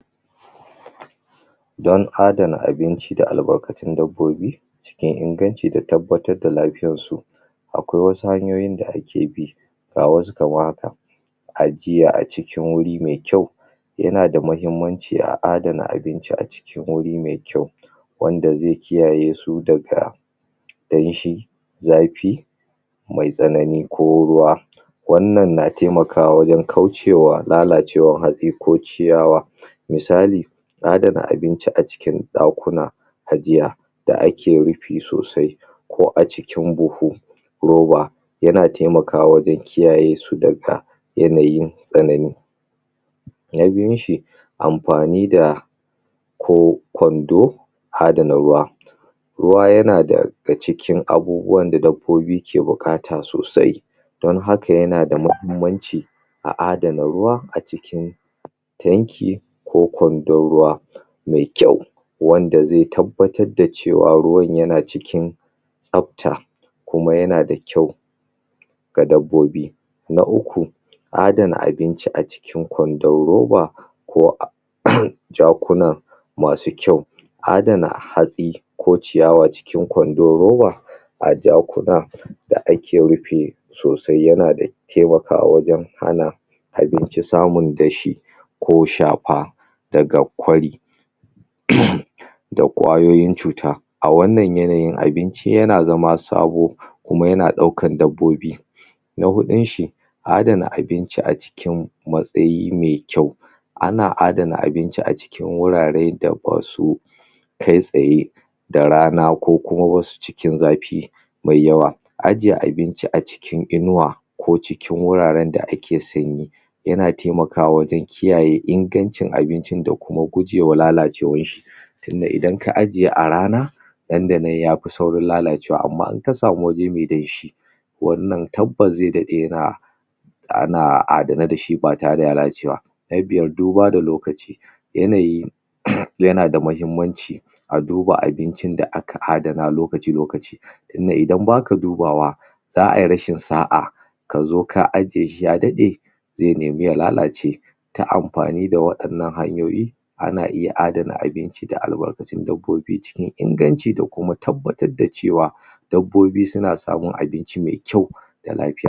don adana abinci da albarkatun dabbobi cikin inganci da tabbatar da lafiyarsu akwai wasu hanyoyin da ake bi ga wasu kamar haka a jiya a cikin wuri me kyau yana da mahimmanci a adana abinci a cikin wuri me kyau wanda zai kiyaye su daga danshi zafi me tsanani ko ruwa wannan na taimakawa wajan kaucewa lalacewan hatsi ko ciyawa misali adana abinci a cikin ɗakuna ajiya da ake rufi sosai ko cikin buhu ruba yana taimakawa wajan kiyayesu daga yanayin tsanani na biyun shi anfani da ko ƙwando adana ruwa ruwa yana daga cikin abubuwan da dabbobi ke buƙata sosai don haka yana da mahimmanci a adana ruwa a cikin a cikin tanki ko ƙwandon ruwa me kyau wanda zai tabbatar da cewa ruwan yana cikin tsafta kuma yana da kyau da dabbobi na uku adana abinci a cikin ƙwandon ruba ko a jakona masu kyau adana hatsi ko ciyawa cikin ƙwandan ruba a jakuna daake rufi sosai yana da taimakawa wajan hana abincin samun dashi ko shafa daga ƙwari da ƙwayoyin cuta a wannan yanayi abinci yana zama sabo kuma yana ɗaukan dabbobi na hudunshi adana abinci a cikin matsayi me kyau ana adana abinci a cikin wurare da basu kai tsaye da rana ko kuma wasu cikin zafi me yawa ajje abinci a cikin inuwa ko cikin wuraran da ake sanyi yana taimakawa wajan kiyaye ingancin abincin da kuma gujewa lalacewan shi tunda idan ka ajje a rana nan da nan yafi saurin lalacewa amma in kasamu waje me danshi wannan tabbas zai daɗe yana ana adane dashi ba tare da ya lalace ba na biyar duba da lokaci yanayi yana da mahimmanci a duba abincin da aka adana lokaci lokaci tun da idan baka dubawa za ai rashin sa'a kazo ka ajjeshi ya daɗe zai neme ya lalace ta amfani da waɗannan hanyoyi ana iya adana abinci da albarkatun dabbobi cikin inganci da kuma tabbatar da cewa dabbobi suna samun abinci me kyau da lafiya